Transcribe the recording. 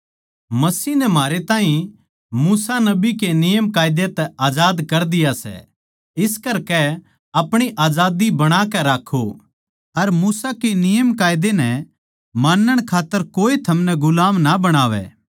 मसीह नै म्हारे ताहीं मूसा नबी के नियमकायदा तै आजाद कर दिया सै आखर इस्से म्ह जमे रह्वो अर गुलामी के जूऐ म्ह फेर तै ना जुड़ो